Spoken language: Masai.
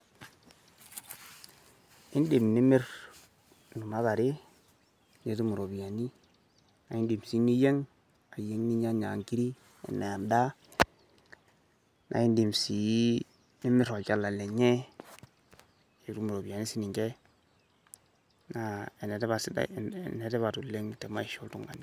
Idim nimirr kuna tare nitum irropiyiani naidim sii niyieng, ayieng ninyianya nkirik aenaa en`daa. Nidim sii nimirr olchala lenye, nitum irropiyiani sii ninchee, naa enetipat oleng te maisha oltung`ani.